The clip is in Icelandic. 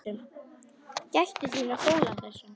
Gættu þín á fóla þessum.